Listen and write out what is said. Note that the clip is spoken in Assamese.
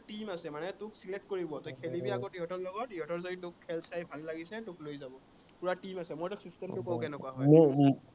team আছে মানে, তোক select কৰিব, তই খেলিব আগত সিহঁতৰ লগত। সিহঁতৰ যদি তোৰ খেল চাই ভাল লাগিছে, তোক লৈ যাব, পোৰা team আছে, মই তোক system টো কওঁ কেনেকুৱা হয়